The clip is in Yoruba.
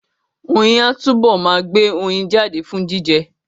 Oyin á túbọ̀ ma gbé oyin jáde fún jíjẹ